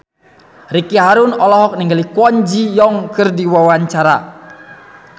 Ricky Harun olohok ningali Kwon Ji Yong keur diwawancara